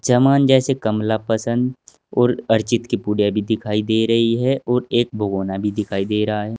समान जैसे कमला पसंद और अर्जित की पुड़िया भी दिखाई दे रही है और एक भगोना भी दिखाई दे रहा--